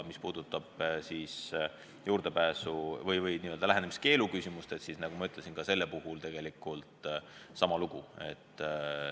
Mis puudutab lähenemiskeelu küsimust, siis selle puhul on tegelikult sama lugu.